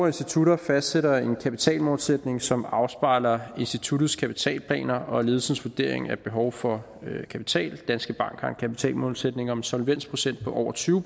institutter fastsætter en kapitalmålsætning som afspejler instituttets kapitalplaner og ledelses vurdering af behov for kapital danske bank har en kapitalmålsætning om en solvensprocent på over tyve